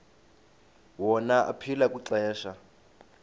wona aphila kwixesha